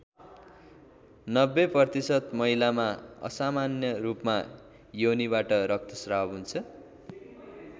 ९० प्रतिशत महिलामा असामान्य रूपमा योनिबाट रक्तश्राव हुन्छ।